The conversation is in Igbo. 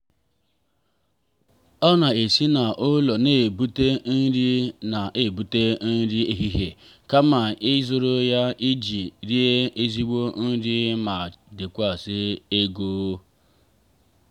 ọ na-esi n'ụlọ na-ebute nri na-ebute nri ehihie kama ịzụrụ ya iji rie ezigbo nri ma chekwaa ego.